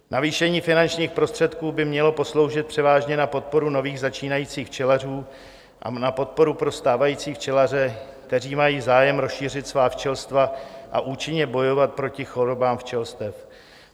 Navýšení finančních prostředků by mělo posloužit převážně na podporu nových začínajících včelařů a na podporu pro stávající včelaře, kteří mají zájem rozšířit svá včelstva a účinně bojovat proti chorobám včelstev.